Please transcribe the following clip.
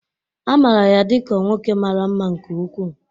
A maara ya dị ka nwoke mara mma nke ukwuu